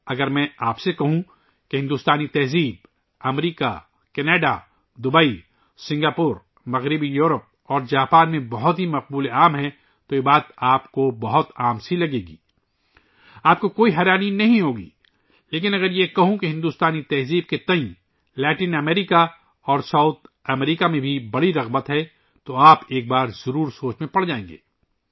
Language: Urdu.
اگر میں آپ کو بتاؤں کہ ہندوستانی ثقافت امریکہ، کناڈا ، دوبئی، سنگاپور، مغربی یورپ اور جاپان میں بہت مقبول ہے تو آپ کو یہ ایک عام بات لگے گی اور آپ کو تعجب نہیں ہوگا لیکن اگر میں یہ کہوں کہ لاطینی امریکہ اور جنوبی امریکہ میں بھی بھارت ثقافت بڑی توجہ کا مرکز ہے ، تو آپ یقیناً ایک بار ضرور سوچیں گے